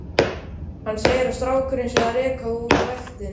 Hann segir að strákurinn sé að reka úr ræktinni.